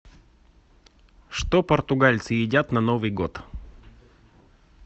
что португальцы едят на новый год